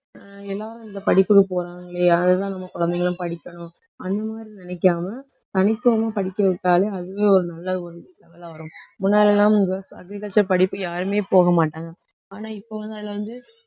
அஹ் எல்லாரும் இந்த படிப்புக்கு போறாங்களே அதுதான் நம்ம குழந்தைகளும் படிக்கணும். அந்த மாதிரி நினைக்காம தனித்துவமா படிக்க விட்டாலே அதுவே ஒரு நல்ல வரும். முன்னாடி எல்லாம் agriculture படிப்பு யாருமே போகமாட்டாங்க. ஆனா இப்போ வந்து அதில வந்து